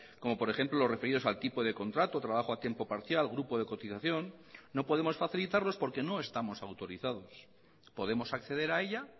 como por ejemplo los referidos al tipo de contrato o trabajo a tiempo parcial grupo de cotización no podemos facilitarlos porque no estamos autorizados podemos acceder a ella